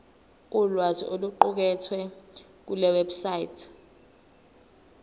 ulwazi oluqukethwe kulewebsite